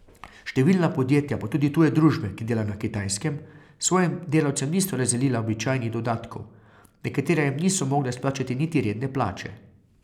Številna podjetja pa tudi tuje družbe, ki delajo na Kitajskem, svojim delavcem niso razdelila običajnih dodatkov, nekatera jim niso mogla izplačati niti redne plače.